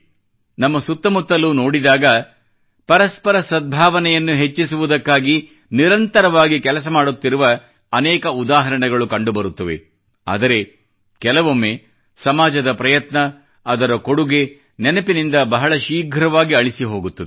ನಮ್ಮ ಸುತ್ತಮುತ್ತಲೂ ನೋಡಿದಾಗ ಪರಸ್ಪರ ಸದ್ಭಾವನೆಯನ್ನು ಹೆಚ್ಚಿಸುವುದಕ್ಕಾಗಿ ನಿರಂತರವಾಗಿ ಕೆಲಸ ಮಾಡುತ್ತಿರುವ ಅನೇಕ ಉದಾಹರಣೆಗಳು ಕಂಡುಬರುತ್ತವೆ ಆದರೆ ಕೆಲವೊಮ್ಮೆ ಸಮಾಜದ ಪ್ರಯತ್ನ ಅದರ ಕೊಡುಗೆ ನೆನಪಿನಿಂದ ಬಹಳ ಶೀಘ್ರವಾಗಿ ಅಳಿಸಿ ಹೋಗುತ್ತದೆ